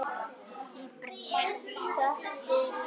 Í bréfi